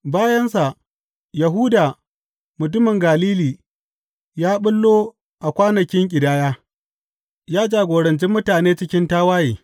Bayansa, Yahuda mutumin Galili ya ɓullo a kwanakin ƙidaya, ya jagoranci mutane cikin tawaye.